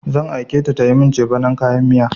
Zan aike ta tayi min cefanin kayan miya.